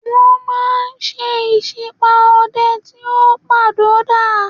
Wọ́n máa ń ṣe ìsípá ọdẹ tí ó padò dà.